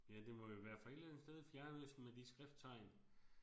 Ja det må jo være fra et eller andet sted i fjernøsten med de skrifttegn